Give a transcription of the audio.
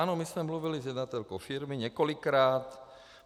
Ano, my jsme mluvili s jednatelkou firmy, několikrát.